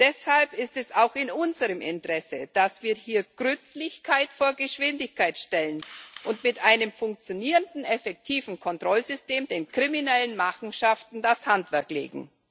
Deshalb ist es auch in unserem Interesse, dass wir hier Gründlichkeit vor Geschwindigkeit stellen und mit einem funktionierenden, effektiven Kontrollsystem den kriminellen Machenschaften das Handwerk legen.